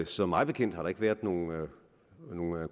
så mig bekendt har der ikke været nogen